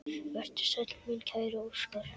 Vertu sæll, minn kæri Óskar.